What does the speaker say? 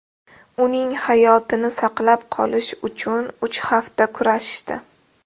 Uning hayotini saqlab qolish uchun uch hafta kurashishdi.